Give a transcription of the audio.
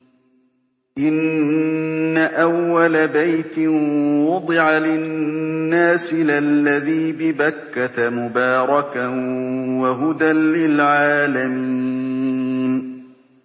إِنَّ أَوَّلَ بَيْتٍ وُضِعَ لِلنَّاسِ لَلَّذِي بِبَكَّةَ مُبَارَكًا وَهُدًى لِّلْعَالَمِينَ